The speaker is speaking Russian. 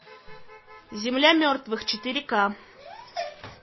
земля мертвых четыре ка